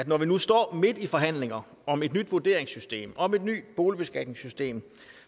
når vi nu står midt i forhandlinger om et nyt vurderingssystem om et nyt boligbeskatningssystem